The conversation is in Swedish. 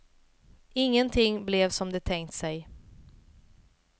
Ingenting blev som de tänkt sig.